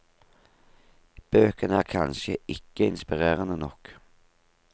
Bøkene er kanskje ikke inspirerende nok.